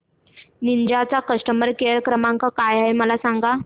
Ninja चा customer care क्रमांक काय आहे मला सांगा